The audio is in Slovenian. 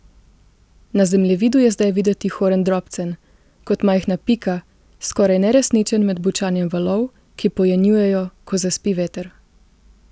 Na zemljevidu je zdaj videti Horn drobcen, kot majhna pika, skoraj neresničen med bučanjem valov, ki pojenjujejo, ko zaspi veter.